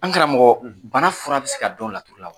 An karamɔgɔ, , bana fura bɛ se ka don laturu la wa?